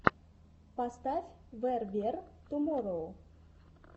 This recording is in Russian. поставь вэр вер туморроу